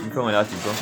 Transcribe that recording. i, mo fẹ́ràn rẹ̀ látigbọ́